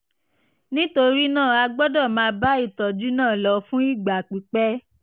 nítorí náà a gbọ́dọ̀ máa bá ìtọ́jú náà lọ fún ìgbà pípẹ́